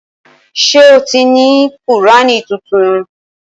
Ṣé o ti ní Kùrání tuntun?